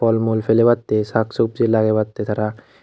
pelebatte shak sabji lagebatte tara.